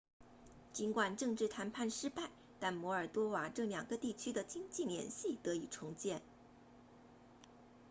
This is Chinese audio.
尽管政治谈判失败但摩尔多瓦这两个地区的经济联系得以重建